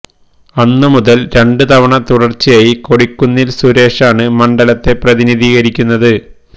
അന്ന് മുതൽ രണ്ട് തവണ തുടർച്ചയായി കൊടിക്കുന്നിൽ സുരേഷാണ് മണ്ഡലത്തെ പ്രതിനിധീകരിക്കുന്നത്